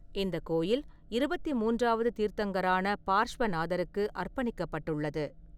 இந்த கோயில் இருபத்தி மூன்றாவது தீர்த்தங்கரான பார்ஷ்வநாதருக்கு அர்ப்பணிக்கப்பட்டுள்ளது.